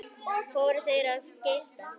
Fóru þeir of geyst?